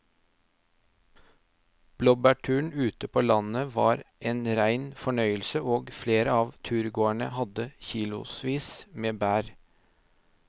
Blåbærturen ute på landet var en rein fornøyelse og flere av turgåerene hadde kilosvis med bær.